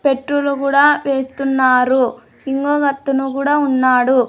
Petrol కూడా వేస్తున్నారు ఇంకొకతను కూడా ఉన్నాడు.